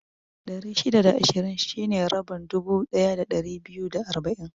Ɗari shida da ishirin shine rabin dubu ɗaya da ɗari biyu da arba'in